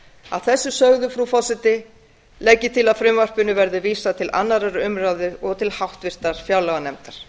að þessu sögðu frú forseti legg ég til að frumvarpinu verði vísað til annarrar umræðu og háttvirtrar fjárlaganefndar